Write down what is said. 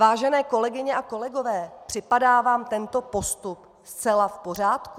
Vážené kolegyně a kolegové, připadá vám tento postup zcela v pořádku?